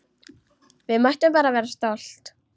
Við mættum bara vera stolt!